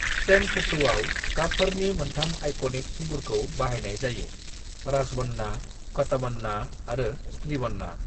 "तेंनकुट्टूआव, गाबफोरनि मोनथाम आइकनिक थुबुरखौ बाहायनाय जायो: राजबन्ना, कटबन्ना आरो स्ट्रीबन्ना।"